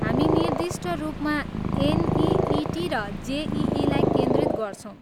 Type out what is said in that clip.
हामी निर्दिष्ट रूपमा एनइइटी र जेइईलाई केन्द्रित गर्छौँ।